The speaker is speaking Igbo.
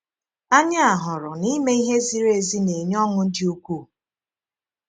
Anyị a hụ̀rụ́ na ime ihe zìrì ezí na - enye ọṅụ dị ukwuu?